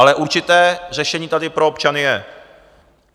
Ale určité řešení tady pro občany je.